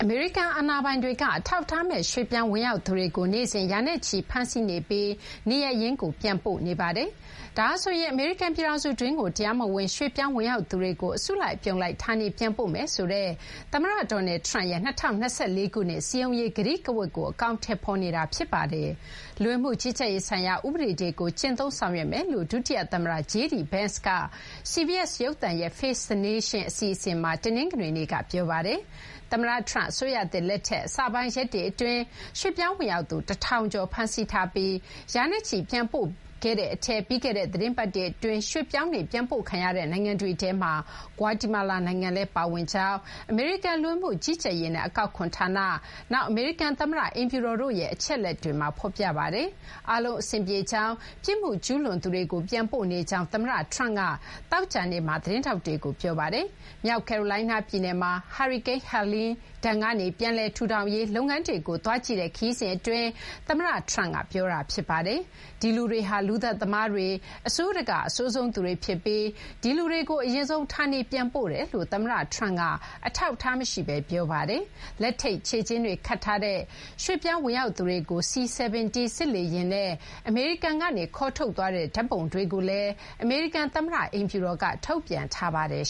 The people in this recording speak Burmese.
မေရိကန် အာဏာပိုင်တွေက အထောက်အထားမဲ့ ရွှေ့ပြောင်း ဝင်ရောက်သူတွေကို နေ့စဉ် ရာနဲ့ချီ ဖမ်းဆီးနေပြီး နေရပ်ရင်းကို ပြန်လည်ပို့ဆောင်နေပါတယ်။ ဒါဟာဆိုရင် အမေရိကန် ပြည်ထောင်စုတွင်းကို တရားမဝင် ရွှေ့ပြောင်း ဝင်ရောက်သူတွေကို အစုလိုက် အပြုံလိုက် ဌာနေပြန်ပို့မယ်ဆိုတဲ့ သမ္မတ Donald Trump ရဲ့ ၂၀၂၄ ခုနှစ် စည်းရုံးရေး ကတိကဝတ်ကို အကောင်အထည်ဖော်နေတာ ဖြစ်ပါတယ်။ လူဝင်မှု ကြီးကြပ်ရေးဆိုင်ရာ ဥပဒေတွေကို ကျင့်သုံးဆောင်ရွက်မယ်လို့ ဒုတိယ သမ္မတ JD Vance ကလည်း CBS ရုပ်သံရဲ့ Face the Nation အစီအစဉ်မှာ တနင်္ဂနွေနေ့က ပြောပါတယ်။ သမ္မတ Trump အစိုးရသစ် လက်ထက် အစပိုင်း ရက်တွေ အတွင်း ရွှေ့ပြောင်း ဝင်ရောက်သူ ၁,၀၀၀ ကျော် ဖမ်းဆီးထားပြီး ရာနဲ့ချီ ပြန်ပို့ခဲ့တဲ့ အထဲ ပြီးခဲ့တဲ့ သီတင်းပတ် အတွင်း ရွှေ့ပြောင်းတွေ ပြန်ပို့ခံရတဲ့ နိုင်ငံတွေထဲမှာ ဂွါတီမာလာ နိုင်ငံလည်း ပါဝင်ကြောင်း အမေရိကန် လူဝင်မှုကြီးကြပ်ရေးနဲ့ အကောက်ခွန် ဌာန၊ နောက် အမေရိကန် သမ္မတ အိမ်ဖြူတော်တို့ရဲ့ အချက်အလက်တွေမှာ ဖော်ပြပါတယ်။ အားလုံး အဆင်ပြေကြောင်း၊ ပြစ်မှုကျူးလွန်သူတွေကို ပြန်ပို့နေကြောင်း သမ္မတ Trump က သောကြာနေ့မှာ သတင်းထောက်တွေကို ပြောပါတယ်။ မြောက်ကယ်ရိုလိုင်းနား ပြည်နယ်မှာ ဟာရီကိန်း Helene ဒဏ်ကနေ ပြန်လည် ထူထောင်ရေး လုပ်ငန်းတွေကို သွားကြည့်တဲ့ ခရီးစဉ် အတွင်း သမ္မတ Trump က ပြောတာ ဖြစ်ပါတယ်။ ဒီလူတွေဟာ လူသတ်သမားတွေ၊ အဆိုးတကာ့ အဆိုးဆုံး သူတွေ ဖြစ်ပြီး ဒီလူတွေကို အရင်ဆုံး ဌာနေပြန်ပို့နေတယ်လို့ သမ္မတ Trump က အထောက်အထား မရှိဘဲ ပြောဆိုခဲ့ပါတယ်။ လက်ထိပ် ခြေကျင်းတွေ ခတ်ထားတဲ့ ရွှေ့ပြောင်း ဝင်ရောက်သူတွေကို C-17 စစ်လေယာဉ်နဲ့ အမေရိကန်ကနေ ခေါ်ထုတ်သွားတဲ့ ဓာတ်ပုံတွေကိုလည်း အမေရိကန် သမ္မတ အိမ်ဖြူတော်က ထုတ်ပြန်ထားပါတယ်